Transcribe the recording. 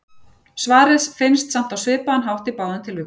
Svarið finnst samt á svipaðan hátt í báðum tilvikum.